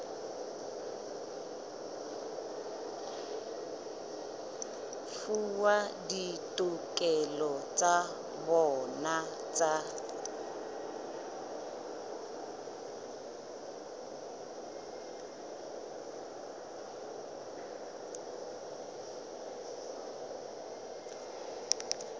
fuwa ditokelo tsa bona tsa